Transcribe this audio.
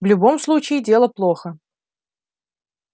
в любом случае дело плохо